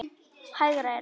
Hægra eyrað.